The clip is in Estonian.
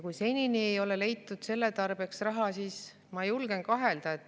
Kui seni ei ole leitud selle tarbeks raha, siis ma julgen kahelda …